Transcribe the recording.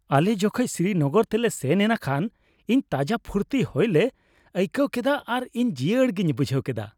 ᱟᱞᱮ ᱡᱚᱠᱷᱮᱡ ᱥᱨᱤᱱᱚᱜᱚᱨ ᱛᱮᱞᱮ ᱥᱮᱱ ᱮᱱᱟ ᱠᱷᱟᱱ ᱤᱧ ᱛᱟᱡᱟ ᱯᱷᱩᱨᱛᱤ ᱦᱚᱭᱞᱮ ᱟᱹᱭᱠᱟᱹᱣ ᱠᱮᱫᱟ ᱟᱨ ᱤᱧ ᱡᱤᱭᱟᱹᱲ ᱜᱮᱧ ᱵᱩᱡᱷᱟᱹᱣ ᱠᱮᱫᱟ ᱾